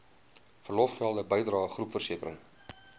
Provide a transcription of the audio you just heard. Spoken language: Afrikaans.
verlofgelde bydrae groepversekering